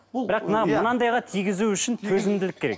бұл бірақ мына мынандайға тигізу үшін төзімділік керек